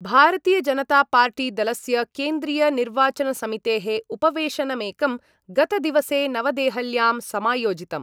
भारतीयजनतापार्टीदलस्य केन्द्रीयनिर्वाचनसमितेः उपवेशनमेकं गतदिवसे नवदेहल्यां समायोजितम्।